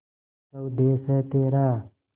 स्वदेस है तेरा